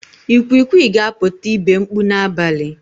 Ikwikwi ga-apụta ibe mkpu n'abalị.